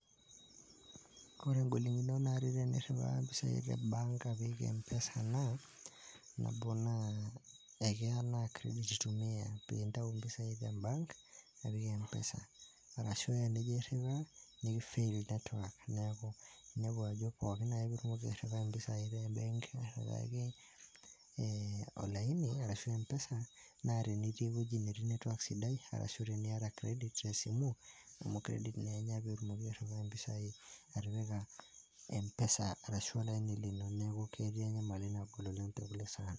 ore igolikinot naa tiniriwaa impisai empesa naa keya naa kiredit intumiya pee inayu impesai tebank apik empesa, ashu tejijo airiwa nikifail netiwak, neeku pooki ake eningo naa iriwaki olaini arashu empesa, naa tinitii eweji netii netiwak sidai niyata kiredit tesimu amu iropiyiani enya amu kiredit naa enya pee itumoki atipika empesa ino.